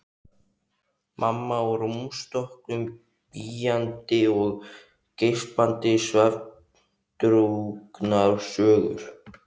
Mamma á rúmstokknum bíandi og geispandi svefndrukknar sögur.